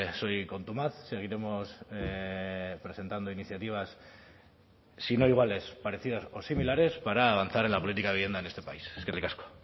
soy contumaz seguiremos presentando iniciativas si no iguales parecidas o similares para avanzar en la política de vivienda en este país eskerrik asko